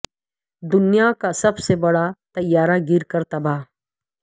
دنیا کا سب سے بڑا طیارہ گر کر تباہ